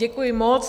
Děkuji moc.